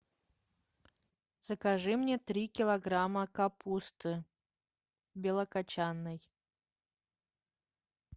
закажи мне три килограмма капусты белокочанной